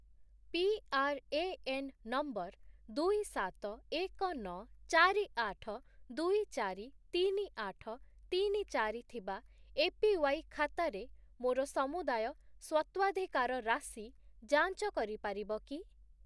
PRAN number ଦୁଇ, ସାତ, ଏକ, ନଅ, ଚାରି, ଆଠ, ଦୁଇ, ଚାରି, ତିନି, ଆଠ, ତିନି, ଚାରି ଥିବା ଏପିୱାଇ ଖାତାରେ ମୋର ସମୁଦାୟ ସ୍ୱତ୍ୱାଧିକାର ରାଶି ଯାଞ୍ଚ କରିପାରିବ କି?